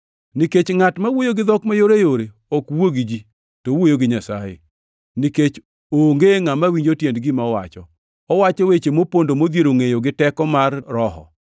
Nikech ngʼat ma wuoyo gi dhok mayoreyore ok wuo gi ji, to owuoyo gi Nyasaye, nikech onge ngʼama winjo tiend gima owacho. Owacho weche mopondo modhiero ngʼeyo gi teko mar Roho.